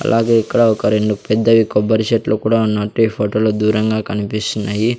అలాగే ఇక్కడ ఒక రెండు పెద్దవి కొబ్బరి చెట్లు కూడా ఉన్నట్టు ఈ ఫోటో లో దూరంగా కనిపిస్తున్నాయి.